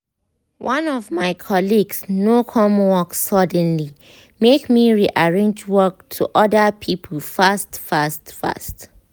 one of my colleagues no come work suddenly make me rearrange work to other people fast fast fast